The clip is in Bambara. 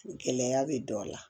Gɛlɛya bɛ dɔ la